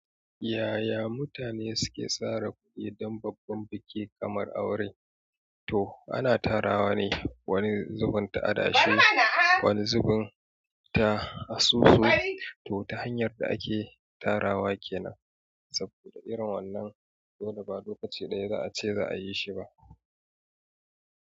Yaya mutane suke sara kuɗi don babban biki kamar aure? To ana tarawa ne wani zubin ta adashi, wani zubin ta asusu. To ta hanyar da ake tarawa kenan. Saboda irin wannan dole ba lokaci ɗaya za a ce za a yi shi ba.